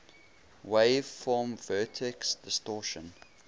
wave form vertex distortion